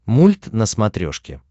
мульт на смотрешке